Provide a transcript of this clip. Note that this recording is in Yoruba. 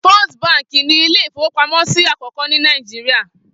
Fist Báńkì ni ilé-ìfowópamọ́sí àkọ́kọ́ ní Nàìjíríà.